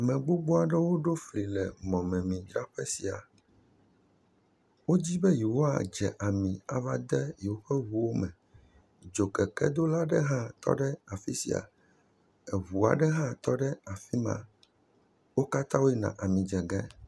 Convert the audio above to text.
Ame gbogbo aɖewo ɖo fli le mɔmemidzraƒe sia. Wodi be yewoadze ami ava de yewo ƒe ŋuwo me. Dzokekedola aɖe hã tɔ afi sia. Ŋu aɖe hã tɔ ɖe afi sia, wo katã woyina amidze ge.